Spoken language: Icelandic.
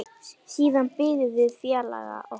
Siðan biðum við félaga okkar.